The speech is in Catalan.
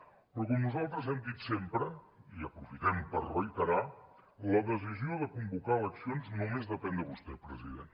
però com nosaltres hem dit sempre i aprofitem per reiterar la decisió de convocar eleccions només depèn de vostè president